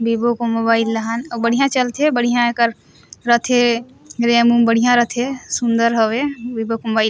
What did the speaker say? वीवो को मोबाइल लहन अउ बढ़िया चलथे बढ़िया एकर रथे रैम उम बढ़िया रथे सुन्दर हवे वीवो के मोबाइल ह--